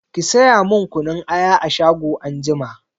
Ki saya min kunun aya a shago anjima!